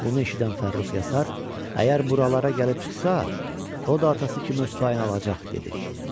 Bunu eşidən Fərrux Yasar, əgər buralara gəlib çıxsa, o da atası kimi öz payını alacaq, dedi.